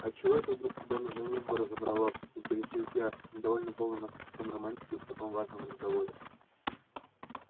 а чего это вдруг тебя на женитьбу разобрало интересуюсь я недовольная полным отсутствием романтики в таком важном разговоре